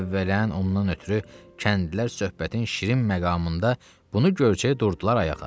Əvvələn ondan ötrü kəndlilər söhbətin şirin məqamında bunu görkəy durdular ayağa.